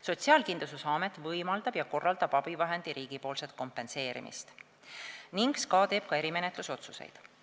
Sotsiaalkindlustusamet võimaldab ja korraldab abivahendi riigipoolset kompenseerimist ning SKA teeb ka erimenetluse otsused.